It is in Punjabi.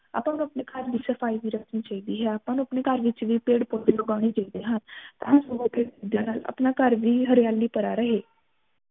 ਆਪਾ ਨੂੰ ਅਪਣੇ ਘਰ ਵੀ ਸਫਾਈ ਵੀ ਰੱਖਣੀ ਚਾਹੀਦੀ ਹੈ ਆਪਾ ਨੂੰ ਅਪਣੇ ਘਰ ਵਿਚ ਵੀ ਪੇਡ ਪੋਧੇ ਲਗੋਨੇ ਚਾਹੀਦੇ ਹਨ ਤਾ ਜੋ ਅਪਣਾ ਘਰ ਵੀ ਹਰਿਆਲੀ ਭਰਾ ਰਹੇ